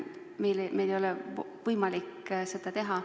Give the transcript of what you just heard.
Meil ei ole võimalik seda teha.